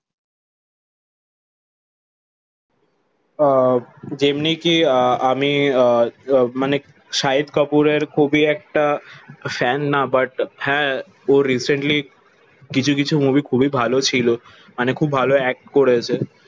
আহ যেমনি কি আ আমি আহ মানে শহীদ কাপুরের খুবই একটা ফ্যান না বাট হা ওরে রিসেন্টলি কিছু কিছু মুভি খুবই ভালো ছিল মানে খুব ভালো একট করেছে